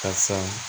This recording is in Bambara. Ka san